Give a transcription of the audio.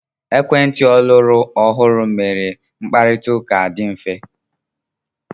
Ekwentị ọlọrọ ọhụrụ mere mkparita ụka adị mfe.